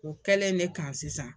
O kɛlen de kan sisan.